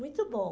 Muito bom.